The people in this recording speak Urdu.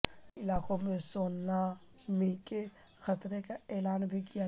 کئی علاقوں میں سونامی کے خطرے کا اعلان بھی کیا گیا